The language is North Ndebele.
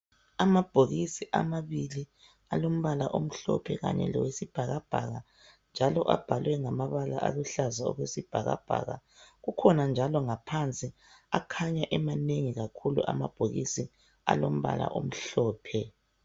Amabhokisi amabili alombala omhlophe kanye lowesibhakabhaka njalo abhalwe ngamabala aluhlaza okwesibhakabhaka. Kukhona njalo ngaphansi akhanya emanengi amabhokisi alombala omhlophe.